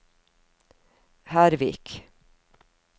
Hervik